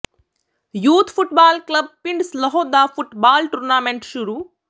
youth football club ਪਿੰਡ ਸਲੋਹ ਦਾ football tournament ਸ਼ੁਰੂ